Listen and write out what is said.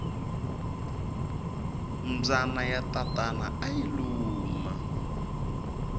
mbyana ya tatana ayi luma